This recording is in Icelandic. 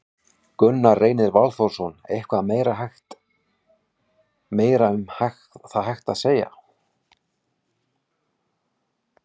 Gunnar Reynir Valþórsson: Eitthvað meira hægt, meira um það hægt að segja?